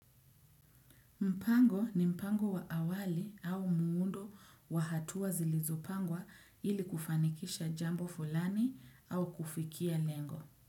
Mpango ni mpango wa awali au muundo wahatua zilizopangwa ili kufanikisha jambo fulani au kufikia lengo.